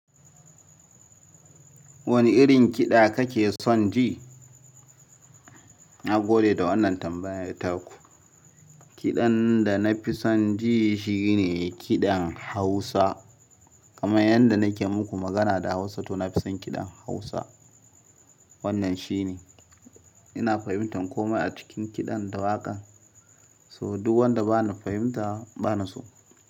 Wani irin kiɗa kake son ji? Na gode da wannan tambayar taku. Kiɗan da na fi son ji shi ne kiɗan Hausa. Kamar yadda nake muku magana da Hausa to na fi son kiɗan Hausa. Wannan shi ne. Ina fahimtar komai a cikin kiɗan da waƙan so duk wanda ba na fahimta bana so.